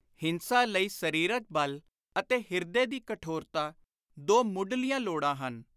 ਹਿੰਸਾ ਲਈ ਸਰੀਰਕ ਬਲ ਅਤੇ ਹਿਰਦੇ ਦੀ ਕਠੋਰਤਾ ਦੋ ਮੁੱਢਲੀਆਂ ਲੋੜਾਂ ਹਨ।